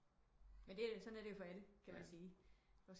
Men sådan er det jo for alle kan man sige